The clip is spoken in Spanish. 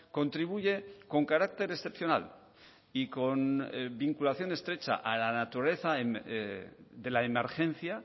contribuye con carácter excepcional y con vinculación estrecha a la naturaleza de la emergencia a